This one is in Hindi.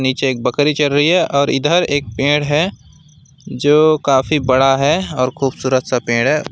पीछे एक बकरी चर रही है और इधर एक पेड़ है जो काफी बड़ा है और खूबसूरत सा पेड़ है।